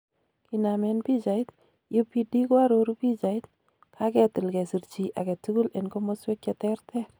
Kinamen pichait, UPD koaroru pichait," kagetil kesir chi agetugul en komosweek cheterter."